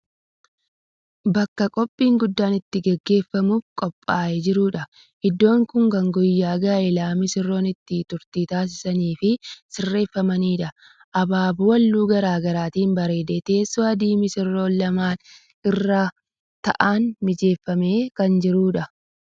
Bakka qophiin guddaa itti gaggeeffamuuf qophaaye jirudha. Iddoon kun kan guyyaa gaa'elaa misirroon itti turtii taasisaniif sirreeffamedha. Abaaboo haalluu garaagaraatiin bareedee teessoo adii misirroon lamaan irra taa'an mijeeffamee kan jirudha.